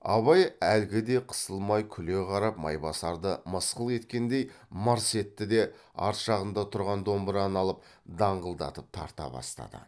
абай әлгі де қысылмай күле қарап майбасарды мысқыл еткендей мырс етті де арт жағында тұрған домбыраны алып даңғылдатып тарта бастады